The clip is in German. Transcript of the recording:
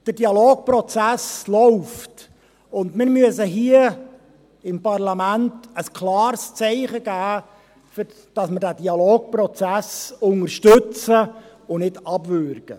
Der Dialogprozess läuft, und wir müssen hier im Parlament ein klares Zeichen dafür setzen, dass wir den Dialogprozess unterstützen und nicht abwürgen.